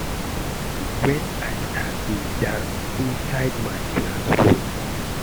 I no know wen I start to dey dance inside my classroom